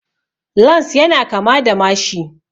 Lans ya na kama da mashi